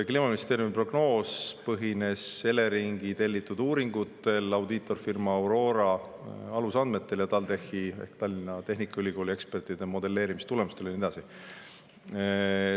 Kliimaministeeriumi prognoos põhines Eleringi tellitud uuringutel, audiitorfirma Aurora alusandmetel ja TalTechi ehk Tallinna Tehnikaülikooli ekspertide modelleerimise tulemustel ja nii edasi.